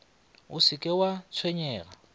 o se ke wa tshwenyega